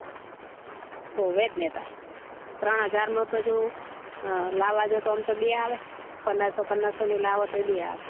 હોવે જ ને તાર ત્રણ હજાર માં તો જો અ લાવા જો તો એમ તો બે આવે પંદરસો પંદરસો ની લાવો તો એ બે આવે